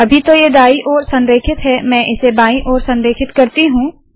अभी तो यह दाई ओर संरेखित है मैं इसे बायी ओर संरेखित करती हूँ